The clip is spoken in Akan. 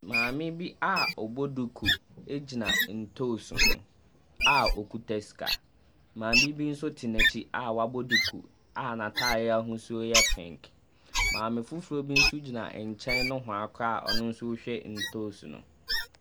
Maame bi a ɔbɔ duku gyina ntoosi ho a okita sika, maame bi nso te n’akyi a wabɔ duku a n’ataadeɛ ahosuo yɛ pink. Maame foforɔ bi nso gyina nkyɛn nohoa koraa ɔno rehwɛ ntoosi no.